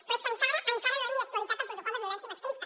però és que encara no hem ni actualitzat el protocol de violència masclista